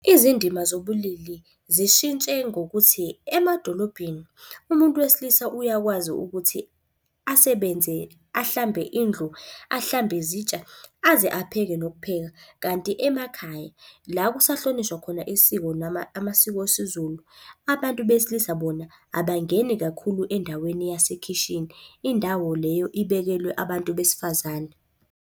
Izindima zobulili zishintshe ngokuthi, emadolobheni umuntu wesilisa uyakwazi ukuthi asebenze ahlambe indlu, ahlambe izitsha, aze apheke nokupheka. Kanti emakhaya, la okusahlonishwa khona isiko noma amasiko esiZulu, abantu besilisa bona abangeni kakhulu endaweni yasekhishini. Indawo leyo ibekelwe abantu besifazane.